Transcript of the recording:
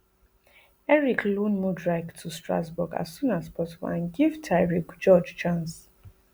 eric loan mudryk to strasbourg as soon as possible and give tyrique george chance